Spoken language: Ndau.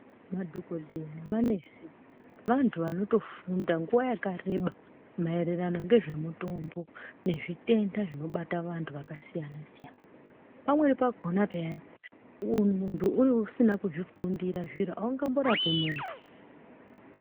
Madhokodheya nemanesi vantu vanotofunda nguwa yakareba mayererano ngezvemutombo nezvitenda zvinobata vantu vakasiyana siyana, pamweni pakona peyani muntu usina kuzvifundira zviro awungamborapi muntu.